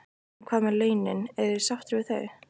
En hvað með launin, eru þeir sáttir við þau?